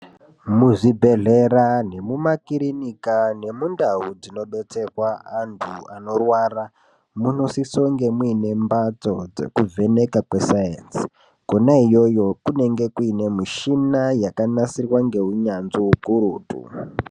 Muzvibhedhlera nemumakirinika nemundau dzinobetserwa antu anorwara munosisounge muine mhatso dzekuvheneka kwesainzi kwona iyoyo kunenge kuine mishina yakanasirwa ngeunyanzvi ukurutu.